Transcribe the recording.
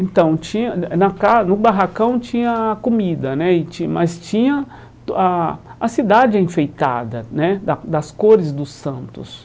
Então, tinha eh na ca no barracão tinha comida né e tin, mas tinha a a cidade enfeitada né, da das cores dos santos.